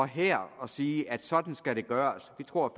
her og sige at sådan skal det gøres vi tror